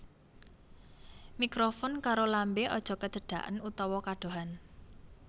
Mikrofon karo lambé aja kecedaken utawa kadohan